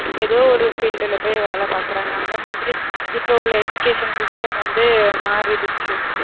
எதோ ஒரு field ல போய் வேல பாக்குறாங்க அந்த மாதிரி இப்போ உள்ள education system வந்து மாறிடுச்சு